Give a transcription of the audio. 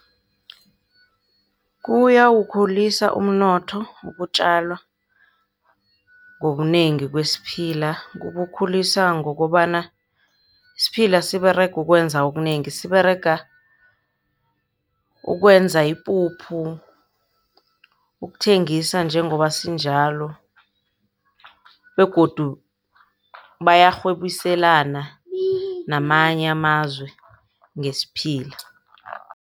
Kuyawukhulisa umnotho ukutjalwa ngobunengi kwesiphila. Kuwulisa ngokobana siphila siberega ukwenza okunengi. Siberega ukwenza ipuphu, ukuthengisa njengoba sinjalo begodu bayarhwebiselana namanye amazwe ngesiphila.